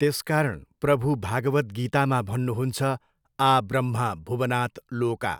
त्यसकारण प्रभु भागवत गीतामा भन्नु हुन्छ आ ब्रह्म भुवनात् लोका।